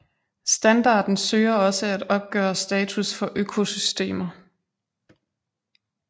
Standarden søger også at opgøre status for økosystemer